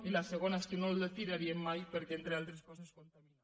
i la segona és que no l’hi tiraríem mai perquè entre altres coses contamina